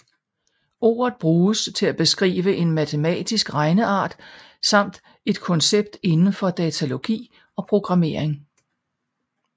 Ordet bruges til at beskrive en matematisk regneart samt et koncept indenfor datalogi og programmering